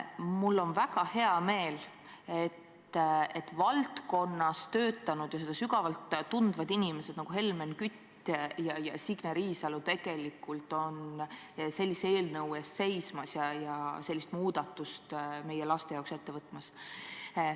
Mul on väga hea meel, et valdkonnas töötanud ja seda sügavalt tundvad inimesed nagu Helmen Kütt ja Signe Riisalo on sellise eelnõu eest seismas ja sellist muudatust meie laste jaoks ette võtmas.